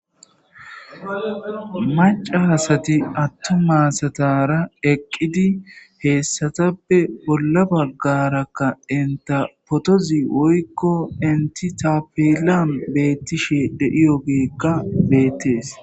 macasati attu maasatara eqqidi heessatappe bolla baggarakka inta potozi woykko inti tapeelan beettishe dediyogeekka beettees